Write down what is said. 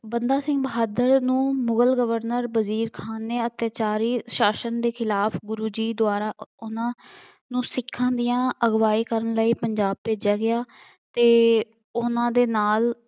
ਬੰਦਾ ਸਿੰਘ ਬਹਾਦਰ ਨੂੰ ਮੁਗਲ ਗਵਰਨਰ ਵਜ਼ੀਰ ਖਾਂ ਨੇ ਅੱਤਿਆਚਾਰੀ ਸ਼ਾਸ਼ਨ ਦੇ ਖਿਲਾਫ ਗੁਰੂ ਜੀ ਦੁਆਰਾ ਉਹਨਾ ਨੂੰ ਸਿੱਖਾਂ ਦੀਆਂ ਅਗਵਾਈ ਕਰਨ ਲਈ ਪੰਜਾਬ ਭੇਜਿਆ ਗਿਆ ਅਤੇ ਉਹਨਾ ਦੇ ਨਾਲ